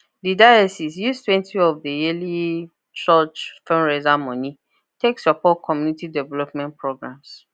the diocese use twenty of the yearly church fundraiser money take support community development programs